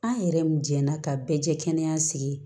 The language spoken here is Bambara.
An yɛrɛ mun jɛnna ka bɛɛ jɛ kɛnɛ sigi